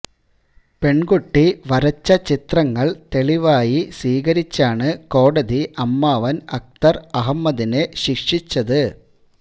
പെണ്കുട്ടി വരച്ച ചിത്രങ്ങള് തെളിവായി സ്വീകരിച്ചാണ് കോടതി അമ്മാവന് അക്തര് അഹ്മദിനെ ശിക്ഷിച്ചത്